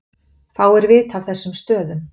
Fáir vita af þessum stöðum